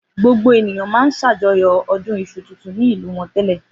Gbogbo ènìyàn máa ń ṣàjọyọ̀ ọdún iṣu tuntun ni ìlú wọn tẹ́lẹ̀.